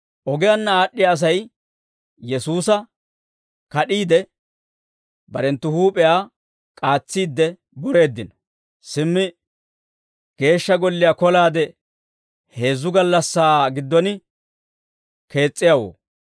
Ogiyaanna aad'd'iyaa Asay Yesuusa kad'iide, barenttu huup'iyaa k'aatsiidde boreeddino; «Simmi, Geeshsha Golliyaa kolaade heezzu gallassaa giddon kees's'iyaawoo,